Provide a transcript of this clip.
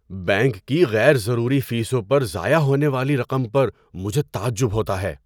Bank کی غیر ضروری فیسوں پر ضائع ہونے والی رقم پر مجھے تعجب ہوتا ہے۔